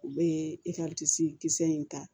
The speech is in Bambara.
U bɛ kisɛ in ta